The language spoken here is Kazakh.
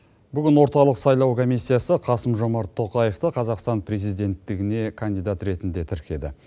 бүгін орталық сайлау комиссиясы қасым жомарт тоқаевты қазақстана президенттігіне кандидат ретінде тіркеді